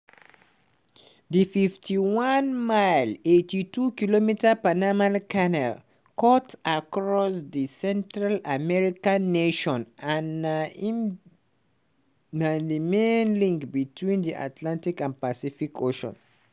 di 51-mile (82km) panama canal cut across di central american nation and na im na di main link between di atlantic and pacific oceans.